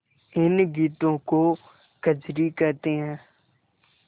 इन गीतों को कजरी कहते हैं